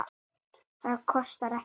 Það kostar ekkert.